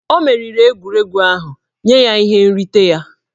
O meriri egwuregwu ahụ, nye ya ihe nrite ya!